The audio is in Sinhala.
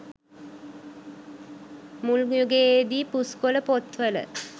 මුල් යුගයේදී පුස්කොළ පොත් වල